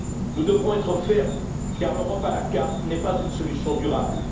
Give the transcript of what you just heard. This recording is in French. Nous devrons être fermes car l'Europe à la carte n'est pas une solution durable.